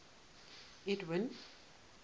edwind